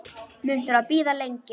Mun þurfa að bíða lengi.